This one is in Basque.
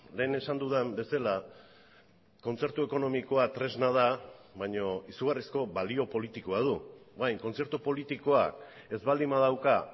lehen esan dudan bezala kontzertu ekonomikoa tresna da baina izugarrizko balio politikoa du orain kontzertu politikoak ez baldin badauka